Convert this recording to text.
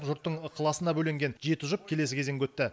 жұрттың ықыласына бөленген жеті жұп келесі кезеңге өтті